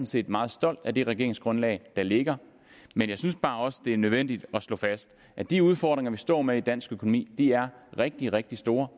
set meget stolt af det regeringsgrundlag der ligger men jeg synes bare også det er nødvendigt at slå fast at de udfordringer vi står med i dansk økonomi er rigtig rigtig store